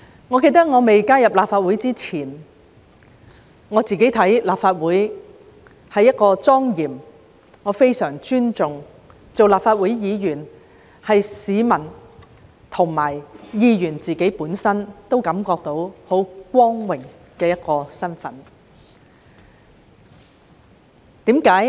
我記得在加入立法會前，立法會對我而言是相當莊嚴的，我非常尊重，而立法會議員亦是市民和議員本身皆感到非常光榮的身份。